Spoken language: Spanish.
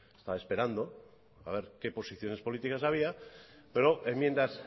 estaba esperando a ver qué posiciones políticas había pero enmiendas